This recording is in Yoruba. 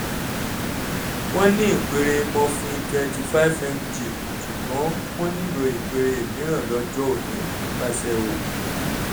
wọ́n ní ìpele morphine 25mg ṣùgbọ́n wọ́n nílò ìpele mìíràn lọ́jọ́ òní nípasẹ̀ oògùn